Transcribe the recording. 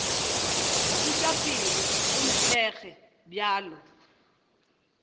buša pelo o nthekge bjalo